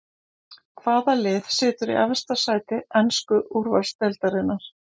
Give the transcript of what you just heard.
Hvaða lið situr í efsta sæti ensku úrvalsdeildarinnar?